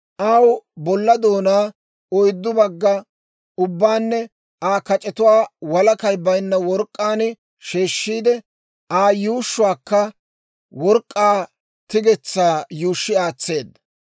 Aw bolla doonaa, oyddu bagga ubbaanne Aa kac'etuwaa walakay baynna work'k'aan sheeshshiide, Aa yuushshuwaakka work'k'aa tigetsaa yuushshi aatseedda.